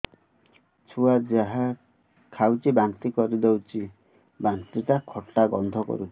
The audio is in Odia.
ଛୁଆ ଯାହା ଖାଉଛି ବାନ୍ତି କରିଦଉଛି ବାନ୍ତି ଟା ଖଟା ଗନ୍ଧ କରୁଛି